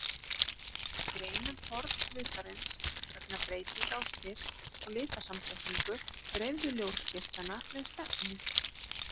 Við greinum form hlutarins vegna breytinga á styrk og litasamsetningu dreifðu ljósgeislanna með stefnu.